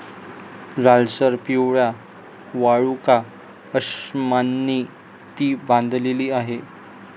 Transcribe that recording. लालसर पिवळ्या वाळूकाअश्मांनी ती बांधलेली आहे.